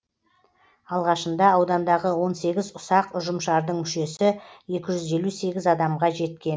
алғашында аудандағы он сегіз ұсақ ұжымшардың мүшесі екі жүз елу сегіз адамға жеткен